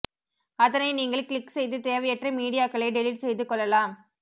அதனை நீங்கள் க்ளிக் செய்து தேவையற்ற மீடியாக்களை டெலிட் செய்து கொள்ளலாம்